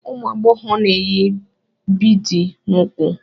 Ụmụ agbọghọ na-eyi biidi n'úkwù.